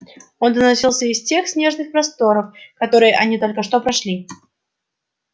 он доносился из тех снежных просторов которые они только что прошли